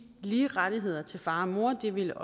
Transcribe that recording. lige rettigheder til far og mor det ville